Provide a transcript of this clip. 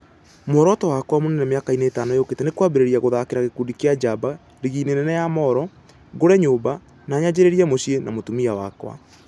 Muoroto wakwa mũnene mĩakainĩ ĩtano yũkĩte nĩ kwambĩrĩria gũthakĩra gĩkundi kĩa Njaba( rigiinĩ nene ya Moro), ngũre nyũmba, na nyanjĩrĩrie mũciĩ na mũtumia wakwa.